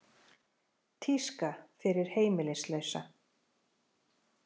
Tíska fyrir heimilislausa